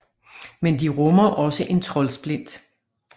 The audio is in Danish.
Men de rummer også en troldsplint